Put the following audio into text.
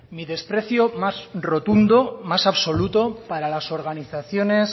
mi desprecio más rotundo más absoluto para las organizaciones